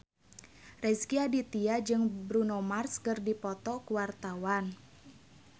Rezky Aditya jeung Bruno Mars keur dipoto ku wartawan